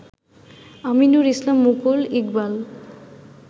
Aminur Islam Mukul, Iqbal